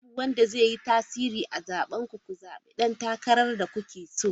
Babu wanda zai yi tasiri a zaben ku, ku zabi dan takarar da kuke so!